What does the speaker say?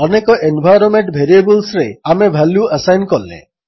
ଅନେକ ଏନ୍ଭାଇରୋନ୍ମେଣ୍ଟ ଭେରିଏବଲ୍ସରେ ଆମେ ଭାଲ୍ୟୁ ଆସାଇନ୍ କଲେ